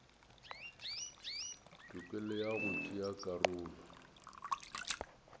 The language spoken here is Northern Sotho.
tokelo ya go tšea karolo